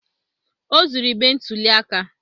O zuru igbe ntụli aka